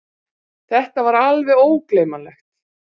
Það var alveg ógleymanlegt!